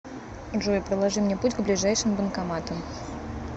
джой проложи мне путь к ближайшим банкоматам